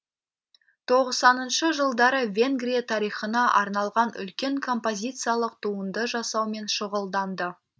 тоқсаныншы жылдары венгрия тарихына арналған үлкен композициялық туынды жасаумен шұғылданды